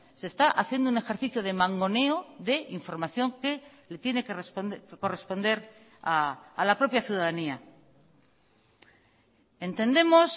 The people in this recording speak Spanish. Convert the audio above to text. se está haciendo un ejercicio de mangoneo de información que le tiene que corresponder a la propia ciudadanía entendemos